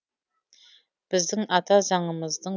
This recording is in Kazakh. біздің ата заңымыздың